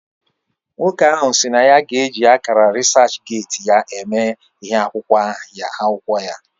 Nwoko ahu SI na ya g'eji akara reaserchgate ya eme ihe akwukwo ya